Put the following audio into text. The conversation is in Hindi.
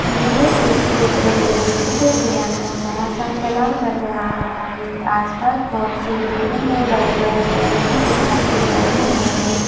यह एक चित्र है चित्र के अंदर बड़ा सा तलाव नजर आ रहा है आसपास बहुत सी बिल्डिंग है बड़े-बड़े पैड़ भी दिखाई दे रहे हैं।